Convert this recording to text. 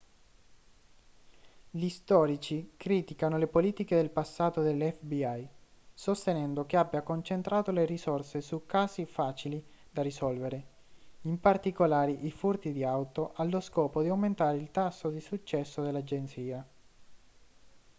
gli storici criticano le politiche del passato dell'fbi sostenendo che abbia concentrato le risorse su casi facili da risolvere in particolare i furti di auto allo scopo di aumentare il tasso di successo dell'agenzia